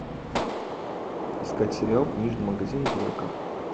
искать сериал книжный магазин блэка